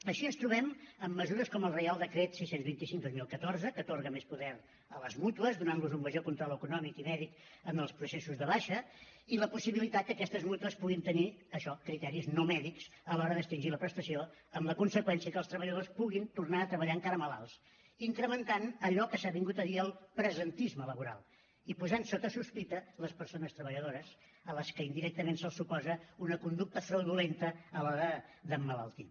així ens trobem amb mesures com el reial decret sis cents i vint cinc dos mil catorze que atorga més poder a les mútues donant los un major control econòmic i mèdic en els processos de baixa i la possibilitat que aquestes mútues puguin tenir això criteris no mèdics a l’hora d’extingir la prestació amb la conseqüència que els treballadors puguin tornar a treballar encara malalts incrementant allò que s’ha vingut a dir el presentisme laboral i posant sota sospita les persones treballadores a les que indirectament se’ls suposa una conducta fraudulenta a l’hora d’emmalaltir